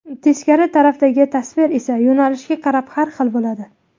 Teskari tarafdagi tasvir esa yo‘nalishga qarab har xil bo‘ladi.